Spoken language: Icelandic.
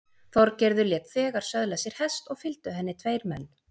Þorgerður lét þegar söðla sér hest og fylgdu henni tveir menn.